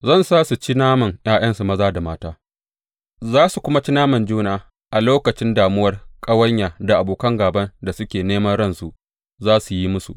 Zan sa su ci naman ’ya’yansu maza da mata, za su kuma ci naman juna a lokacin damuwar ƙawanya da abokan gāban da suke neman ransu za su yi musu.’